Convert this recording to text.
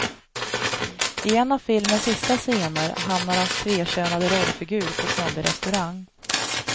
I en av filmens sista scener hamnar hans tvekönade rollfigur på snobbig restaurang.